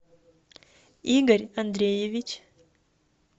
игорь андреевич